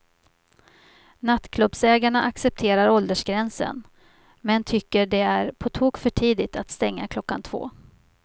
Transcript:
Nattklubbsägarna accepterar åldersgränsen, men tycker det är på tok för tidigt att stänga klockan två.